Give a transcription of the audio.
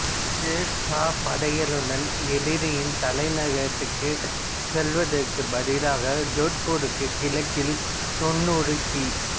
சேர் சா படைகளுடன் எதிரியின் தலைநகரத்திற்குச் செல்வதற்குப் பதிலாக ஜோத்பூருக்கு கிழக்கில் தொண்ணூறு கி